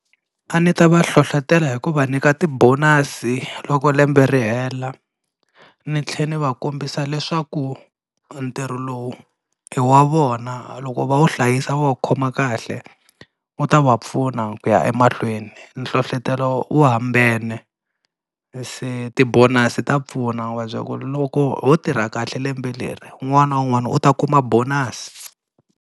A ni ta va hlohlotela hi ku va nyika ti-bonus loko lembe ri hela ni tlhela ni va kombisa leswaku ntirho lowu i wa vona loko va wu hlayisa va wu khoma kahle u ta va pfuna ku ya emahlweni, nhlohlotelo wu hambane se ti-bonus ta pfuna u va byela ku loko ho tirha kahle lembe leri un'wana na un'wana u ta kuma bonus.